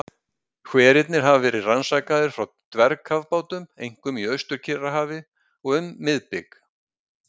Hverirnir hafa verið rannsakaðir frá dvergkafbátum, einkum í Austur-Kyrrahafi og um miðbik